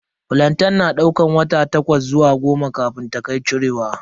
Flantain na daukar wata takwas zuwa goma kafin ta kai cirewa.